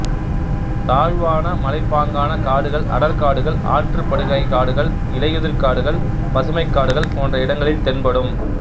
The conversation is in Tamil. தாழ்வான மலைப்பாங்கான காடுகள் அடர்காடுகள் ஆற்றுப்படுகைக்காடுகள் இலையுதிர் காடுகள் பசுமைக்காடுகள் போன்ற இடங்களில் தென்படும்